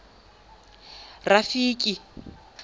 rafiki